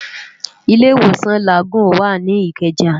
Ilé Iwósán Lágúùn wá ni Ikeja